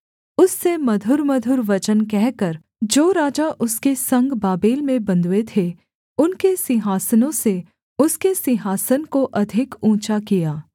उससे मधुरमधुर वचन कहकर जो राजा उसके संग बाबेल में बन्धुए थे उनके सिंहासनों से उसके सिंहासन को अधिक ऊँचा किया